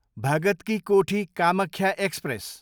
Bhagat ki Kothi, Kamakhya express